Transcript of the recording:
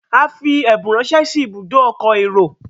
a fí ẹbùn rẹ ránṣẹ sí Ibùdó ọkọ̀ èrò.